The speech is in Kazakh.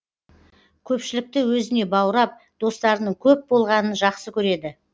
көпшілікті өзіне баурап достарының көп болғанын жақсы көреді